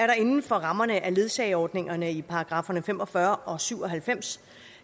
der inden for rammerne af ledsageordningerne i paragrafferne fem og fyrre og syv og halvfems